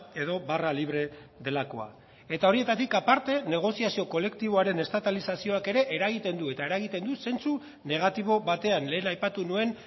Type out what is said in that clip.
edo barra libre delakoa eta horietatik aparte negoziazio kolektiboaren estatalizazioak ere eragiten du eta eragiten du zentzu negatibo batean lehen aipatu nuen